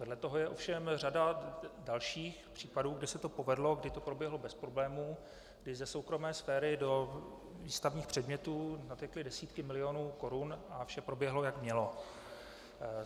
Vedle toho je ovšem řada dalších případů, kdy se to povedlo, kdy to proběhlo bez problémů, kdy ze soukromé sféry do výstavních předmětů natekly desítky milionů korun a vše proběhlo, jak mělo.